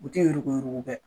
U tɛ yurugu yurugu kɛ.